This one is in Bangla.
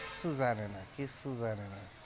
জানে না কিচ্ছু জানে না।